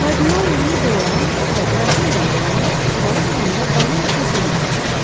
Kardinal Lui De Roan və Qrafinya De Lamot zala girəndə balın qızğın vaxtı idi.